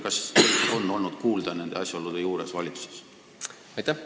Kas teid on olnud kuulda, kui sellised asjaolud valitsuses ilmnevad?